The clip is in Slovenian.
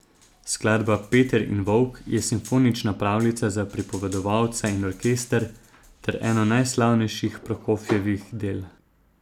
Skladba Peter in volk je simfonična pravljica za pripovedovalca in orkester ter eno najslavnejših Prokofjevih del.